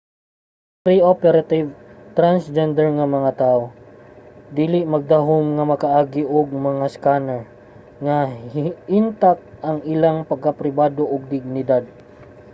ang pre-operative transgender nga mga tawo dili magdahum nga makaagi sa mga scanner nga intak pa ang ilang pagkapribado ug dignidad